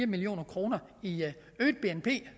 million kroner i øget bnp